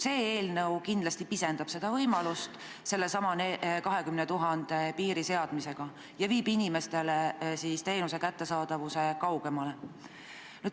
See eelnõu aga kindlasti pisendab seda võimalust – sellesama 20 000 elaniku piiri seadmisega – ja viib teenuse inimestest kaugemale.